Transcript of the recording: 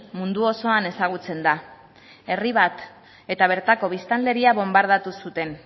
mundu osoan ezagutzen da herri bat eta bertako biztanleria bonbardatuz zuten